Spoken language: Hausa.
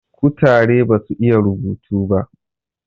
kutare basu iya rubutu ba